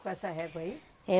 Com essa régua aí? É